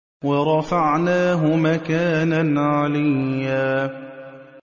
وَرَفَعْنَاهُ مَكَانًا عَلِيًّا